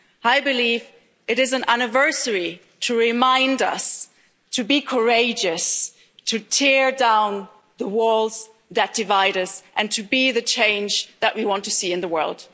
I believe it is an anniversary to remind us to be courageous, to tear down the walls that divide us and to be the change that we want to see in the world.